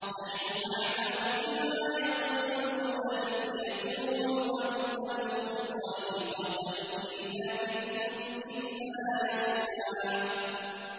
نَّحْنُ أَعْلَمُ بِمَا يَقُولُونَ إِذْ يَقُولُ أَمْثَلُهُمْ طَرِيقَةً إِن لَّبِثْتُمْ إِلَّا يَوْمًا